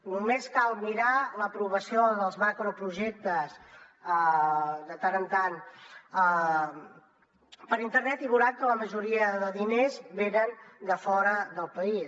només cal mirar l’aprovació dels macroprojectes de tant en tant per internet i veuran que la majoria de diners venen de fora del país